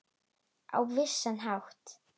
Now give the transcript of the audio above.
Á vissan hátt.